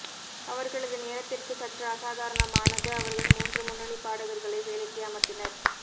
அவர்களது நேரத்திற்கு சற்று அசாதாரணமானது அவர்கள் மூன்று முன்னணி பாடகர்களை வேலைக்கு அமர்த்தினர்